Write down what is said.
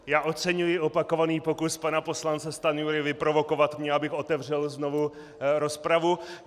Já oceňuji opakovaný pokus pana poslance Stanjury vyprovokovat mě, abych otevřel znovu rozpravu.